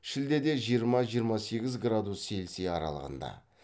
шілдеде жиырма жиырма сегіз градус цельсия аралығында